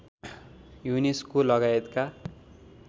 UNESCO लगायतका